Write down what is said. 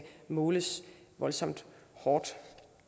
måles voldsomt hårdt